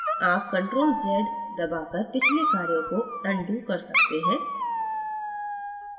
आप ctrlz दबाकर पिछले कार्यों को undo कर सकते हैं